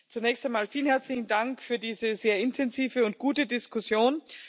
Zunächst einmal vielen herzlichen Dank für diese sehr intensive und gute Diskussion.